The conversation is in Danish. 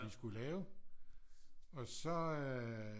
Jeg skulle lave og så øh